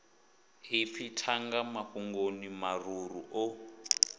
ipfi thanga mafhungoni mararu o